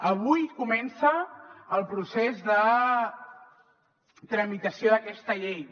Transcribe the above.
avui comença el procés de tramitació d’aquesta llei